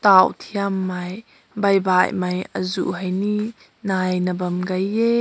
tao theim mai bai bai mai azu hai ne nai na bam gai he.